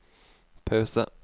pause